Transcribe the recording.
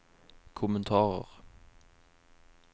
kommentarer